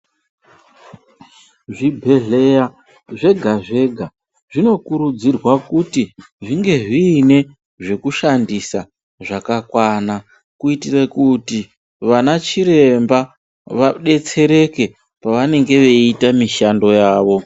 Zvibhedhlera zvega zvega zvino kuridzirwa kuti zvinge zviine zvekushandisa zvakakwana kutitire kuti vanachiremba vadetsereke pavanenga vaiita mishando yavo.